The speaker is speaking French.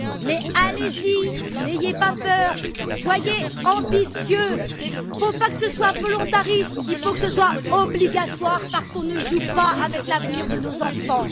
Mais allez y, n'ayez pas peur, soyez ambitieux! Il ne faut pas que ce soit volontaire, il faut que ce soit obligatoire, parce qu'on ne joue pas avec l'avenir de nos enfants.